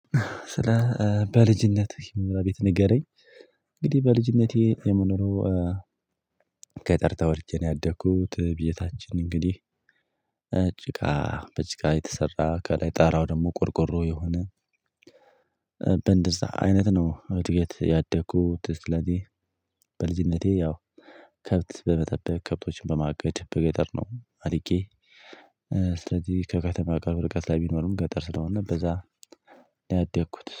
ስለ በልጅነትህ የመኖሪያ ቤት ንገረኝ? እንግዲህ በልጅነቴ የምኖረው ገጠር ተወልጄ ነው ያደኩት ቤታችን እንግዲህ ጭቃ በጭቃ የተሰራ ከላይ ጣራው ደግሞ ቆርቆሮ የሆነ በእንደዛ አይነት ነው። እድገት ያደኩት ስለዚህ በልጅነቴ ያው ከብት በመጠበቅ ከብቶችን በማገድ በገጠር ነው። አዲጌ ስለዚህ ከከተማ ቅርብ ርቀት ላይ ቢኖርም ገጠር ስለሆነ በዛ ነው። ያደኩት